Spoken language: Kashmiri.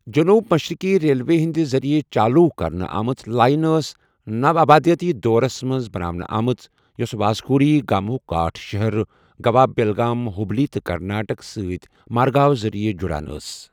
جٔنوٗب مَشرِقی ریلوے ہنٛد ذریعہٕ چالوٗ کَرنہِ آمٕژ لائن ٲس نَوآبادِیٲتی دورس منٛز بناونہٕ آمٕژ یوٚس واسکو ڈی گاماہُک گاٹھ شہر، گوا بیلگام، ہُبلی تہٕ کرناٹک سۭتۍ مارگاؤ ذٔرِیعہ جُڑان ٲس۔